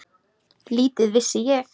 Lítið vissi ég.